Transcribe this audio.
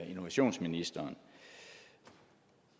innovationsministeren